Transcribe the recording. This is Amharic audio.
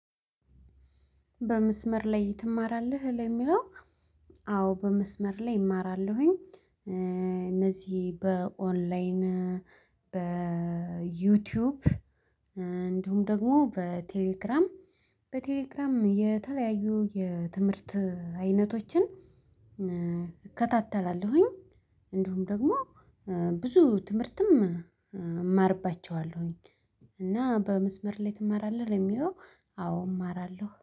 በመስመር ላይ ትማራለህ ለሚለው? አዎ በመስመር ላይ እማራለሁኝ። እነዚህ በኦንላይን በዩቲዩብ እንዲሁም ደግሞ በቴሌክራም በቴሌግራም የተለያዩ የትምህርት አይነቶችን እከታተላለሁኝ። እንደውም ደግሞ ብዙ ትምህርትም እማርባቸዋለሁኝ። እና በመስመር ላይ ትማራለህ ለሚለው? አዎ እማራለሁ